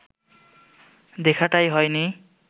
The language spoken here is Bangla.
দেখাটাই হয়নি